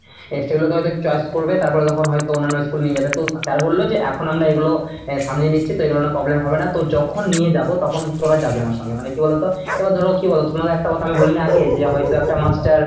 এ সেগুলোকে হয়তো choice করবে তারপরে যখন হয়তো অন্যান্য school এ নিয়ে যাবে তো sir বলল যে এখন আমরা এগুলো আহ সামলে নিচ্ছি তো এগুলো নিয়ে problem হবে না, তো যখন নিয়ে যাব তখন তোরা যাবি আমাদের সঙ্গে। মানে কি বলতো এবার ধরো কি বলতো তোমাকে একটা কথা আমি বলিনি আগে যে হয়তো একটা master